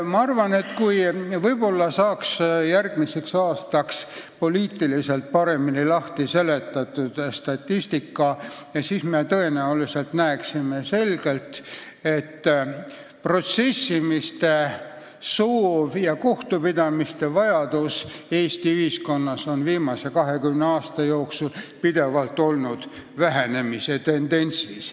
Ma arvan, et kui järgmiseks aastaks saaks selle statistika meie jaoks paremini lahti seletada, siis me tõenäoliselt näeksime selgelt, et protsessimise soov ja kohtupidamise vajadus on Eesti ühiskonnas viimase 20 aasta jooksul pidevalt olnud vähenemise tendentsis.